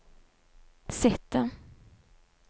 sitte